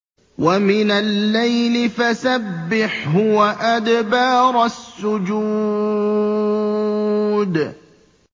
وَمِنَ اللَّيْلِ فَسَبِّحْهُ وَأَدْبَارَ السُّجُودِ